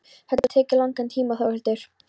Þetta getur tekið langan tíma Þórhildur.